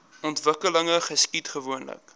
ontwikkeling geskied gewoonlik